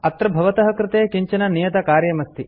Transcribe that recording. अत्र भवतः कृते किञ्चन नियतकार्यमस्ति